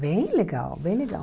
Bem legal, bem legal.